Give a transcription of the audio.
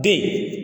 Den